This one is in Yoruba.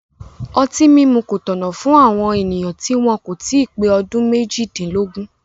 Ọtí mímu kò tọ̀nà fún àwọn ènìyàn tí wọn kò tí ì pé ọdún méjìdínlógún